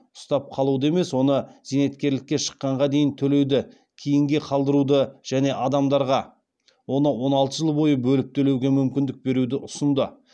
ұстап қалуды емес оны зейнеткерлікке шыққанға дейін төлеуді кейінге қалдыруды және адамдарға оны он алты жыл бойы бөліп төлеуге мүмкіндік беруді ұсынды